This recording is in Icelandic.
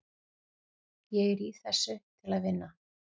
Ég er í þessu til að vinna.